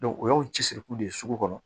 o y'aw cɛsiriku de ye sugu kɔnɔ